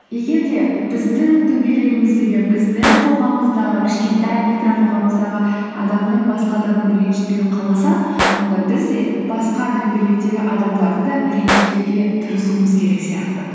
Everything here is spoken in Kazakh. егер де біздің дөңгелегіміздегі біздің қоғамымыздағы кішкентай микроқоғамымыздағы адамның басқа адамның ренжітпеуін қаласақ онда біз де басқа дөңгелектегі адамдарды да ренжітпеуге тырысуымыз керек сияқты